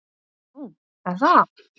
Nú, er það?